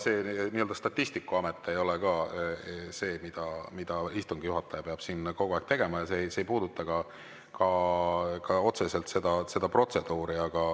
See statistikuamet ei ole ka see, millega istungi juhataja peaks siin kogu aeg tegelema, ja see ei puuduta ka otseselt protseduuri.